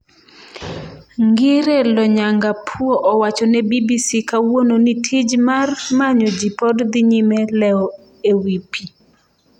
Ngire Lonyangapuo owacho ne BBC kawuono ni tij mar manyo ji pod dhi nyime lewo ewi pi